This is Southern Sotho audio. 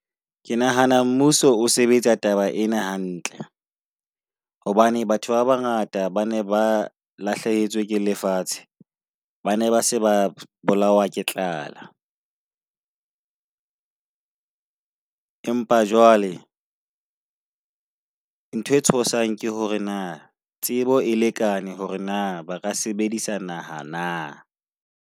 Ke nahana mmuso o sebetsa taba ena hantle. Hobane batho ba bangata ba ne ba lahlehetswe ke lefatshe, ba ne ba se ba bolawa ke tlala. Empa jwale ntho e tshosang ke hore na tsebo e lekane hore na ba ka sebedisa naha na?